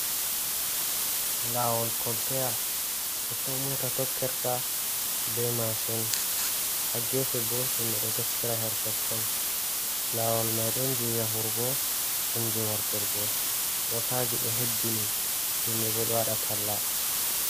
Laawol koltaya, totton moota tokkirta be maacin, haa geefe bo, himɓe ɗo tokkira her totton. Laawol may ɗon jey yahurgo, ɗon jey warturgo, mootaaji ɗo hebbini, himɓe bo ɗo waɗa talla.